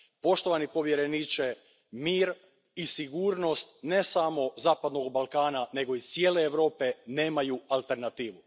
Poštovani povjereniče, mir i sigurnost ne samo Zapadnog Balkana nego i cijele Europe nemaju alternativu.